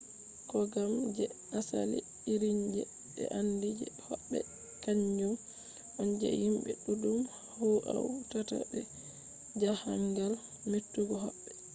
kogam je asali irinje be andi je hobbe kanjum on je himbe duddum hautata be jahangal: metugo hobbe